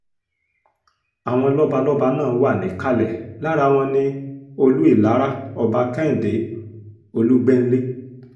àwọn lọ́balọ́ba náà wà níkàlẹ̀ lára wọn ní olú ìlara ọba kẹ́hìndé olùgbẹ́nlé